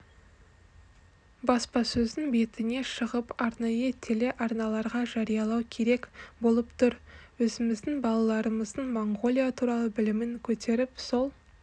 баспасөздің бетіне шығып арнайы телеарналарға жариялау керек болып тұр өзіміздің балаларымыздың моңғолия туралы білімін көтеріп сол